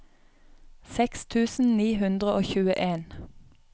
seks tusen ni hundre og tjueen